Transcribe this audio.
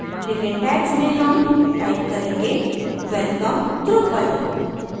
लेकिन tags में हम टाइप करेंगे welcome drupal